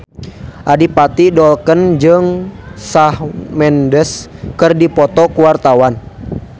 Adipati Dolken jeung Shawn Mendes keur dipoto ku wartawan